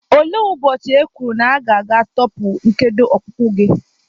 Olee ụbọchị e kwuru na aga-atọpụ nkedo ọkpụkpụ gị?